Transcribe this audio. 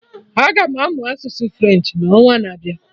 Aga m amụ asụsụ French n'ọnwa na-abịa